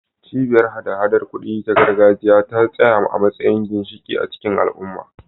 Cibiyar hada-hadar kuɗi ta gargajiya ta tsaya a matsayin ginshiƙi a cikin al'umma.